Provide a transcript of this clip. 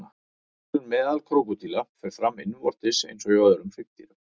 Æxlun meðal krókódíla fer fram innvortis eins og hjá öðrum hryggdýrum.